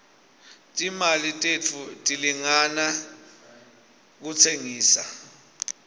timali tethu tilingana rustengisa